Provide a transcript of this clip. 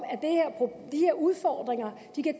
at udfordringer